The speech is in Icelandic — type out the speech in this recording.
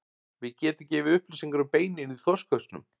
Við getum gefið upplýsingar um beinin í þorskhausnum.